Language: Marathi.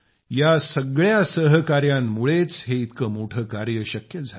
या सगळ्या सहकाऱ्यांमुळेच हे इतके मोठे कार्य शक्य झाले